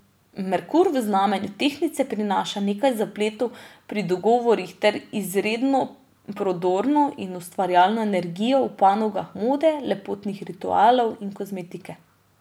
Merkur v znamenju tehtnice prinaša nekaj zapletov pri dogovorih ter izredno prodorno in ustvarjalno energijo v panogah mode, lepotnih ritualov in kozmetike.